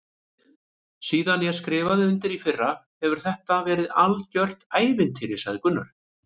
Síðan ég skrifaði undir í fyrra hefur þetta verið algjört ævintýri sagði Gunnar.